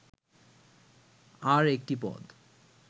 "আর একটি পদ